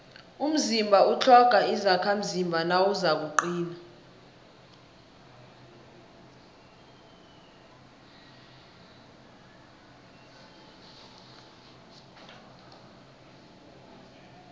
umzimba utlhoga izakhamzimba nawuzakuqina